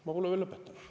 Ma pole veel lõpetanud.